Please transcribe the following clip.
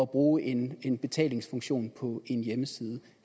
bruge en en betalingsfunktion på en hjemmeside